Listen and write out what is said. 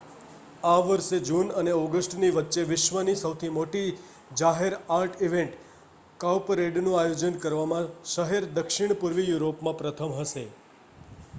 આ વર્ષે જૂન અને ઑગસ્ટની વચ્ચે વિશ્વની સૌથી મોટી જાહેર આર્ટ ઇવેન્ટ કાઉપરેડનું આયોજન કરવામાં શહેર દક્ષિણપૂર્વી યુરોપમાં પ્રથમ હશે